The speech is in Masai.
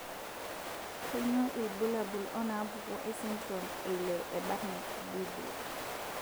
Kainyio irbulabul onaapuku esindirom eile eBardet Biedl?